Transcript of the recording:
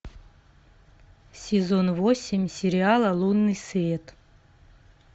сезон восемь сериала лунный свет